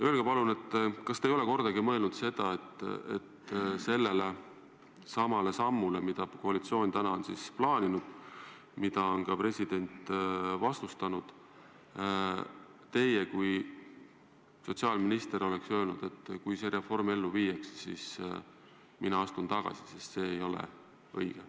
Öelge palun, kas te ei ole kordagi mõelnud öelda, et kui tehakse see samm, mida koalitsioon on plaaninud ja mida president on vastustanud, et kui see reform ellu viiakse, siis teie kui sotsiaalminister astute tagasi, sest see ei ole õige.